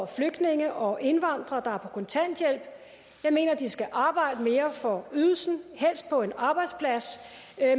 flygtninge og indvandrere kontanthjælp jeg mener at de skal arbejde mere for ydelsen helst på en arbejdsplads